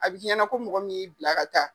A bi ɲɛna ko mɔgɔ min y'i bila ka taa.